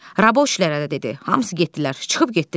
Rabochiləri də dedi, hamısı getdilər, çıxıb getdilər.